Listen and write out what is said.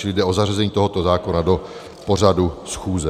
Čili jde o zařazení tohoto zákona do pořadu schůze.